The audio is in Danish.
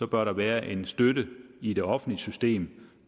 bør der være en støtte i det offentlige system